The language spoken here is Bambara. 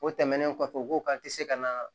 O tɛmɛnen kɔfɛ u ko k'an tɛ se ka na